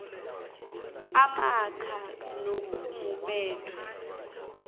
amacv kunye nokumumethwe